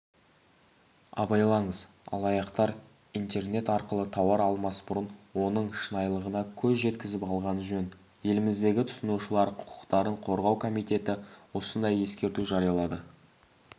абайлаңыз алаяқтар интернет арқылы тауар алмас бұрын оның шынайлығына көз жеткізіп алған жөн еліміздегі тұтынушылар құқықтарын қорғау комитеті осындай ескерту жариялады